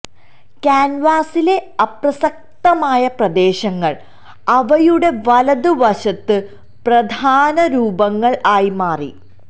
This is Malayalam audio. കാൻവാസിലെ അപ്രസക്തമായ പ്രദേശങ്ങൾ അവയുടെ വലത് വശത്ത് പ്രധാന രൂപങ്ങൾ ആയി മാറി